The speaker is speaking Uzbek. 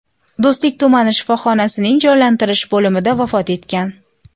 Do‘stlik tumani shifoxonasining jonlantirish bo‘limida vafot etgan.